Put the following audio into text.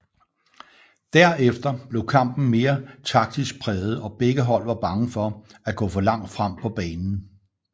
Der efter blev kampen mere taktisk præget og begge hold var bange for at gå for langt frem på banen